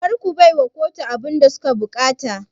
Karka baiwa kotu abunda suke buƙata